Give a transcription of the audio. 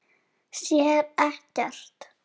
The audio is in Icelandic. Sér ekkert.